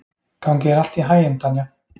Gangi þér allt í haginn, Tanja.